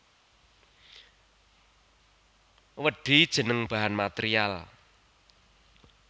Wedhi jeneng bahan material